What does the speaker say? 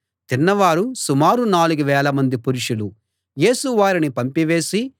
తిన్నవారు సుమారు నాలుగు వేలమంది పురుషులు యేసు వారిని పంపివేసి